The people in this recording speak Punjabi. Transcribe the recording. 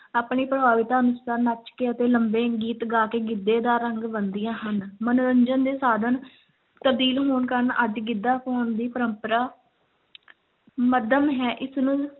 ਆਪਣੀ ਪ੍ਰਭਾਵਿਤਾ ਅਨੁਸਾਰ ਨੱਚ ਕੇ ਅਤੇ ਲੰਮੇ ਗੀਤ ਗਾ ਕੇ ਗਿੱਧੇ ਦਾ ਰੰਗ ਬੰਨ੍ਹਦੀਆਂ ਹਨ, ਮਨੋਰੰਜਨ ਦੇ ਸਾਧਨ ਤਬਦੀਲ ਹੋਣ ਕਾਰਨ ਅੱਜ ਗਿੱਧਾ ਪਾਉਣ ਦੀ ਪਰੰਪਰਾ ਮੱਧਮ ਹੈ, ਇਸ ਨੂੰ